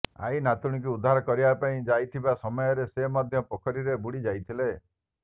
ଆଈ ନାତୁଣୀକୁ ଉଦ୍ଧାର କରିବା ପାଇଁ ଯାଇଥିବା ସମୟରେ ସେ ମଧ୍ୟ ପୋଖରୀରେ ବୁଡି ଯାଇଥିଲେ